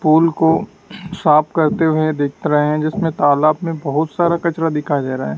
पुल को साफ करते हुए दिख रहे है जिसमें तालाब मे बहुत सारा कचरा दिखाई दे रहा है।